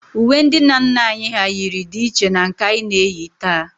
Uwe ndị nna nna anyị hà yiri dị iche na nke anyị na-eyi taa